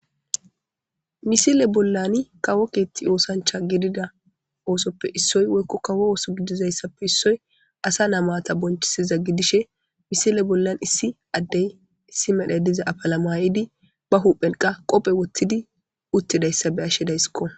Misile bollan kawo keethti oosancha gidida oosoppe issoy woykko kawo ooso gidizayssappe issoy asa namata bonchisiza gidishe misile bollan issi addey issi medhe diza apalamayidi ba huphelqa qophe woththidi uttidayssa be ashidayskko.